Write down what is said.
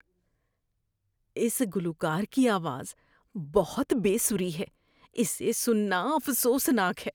اس گلوکار کی آواز بہت بے سری ہے۔ اسے سننا افسوس ناک ہے۔